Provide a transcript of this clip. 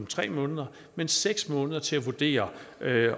tre måneder men seks måneder til at vurdere